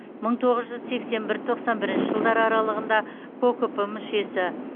мың тоғыз жүз сексен бір тоқсан бірінші жылдар аралығында кокп мүшесі